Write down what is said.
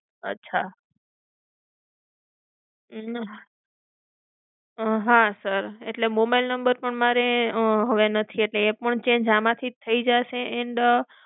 અચ્છા અમ હા sir, એટલે mobile number પણ મારે અમ હવે નથી એટલે એ પણ change આમથી જ થઇ જશે? and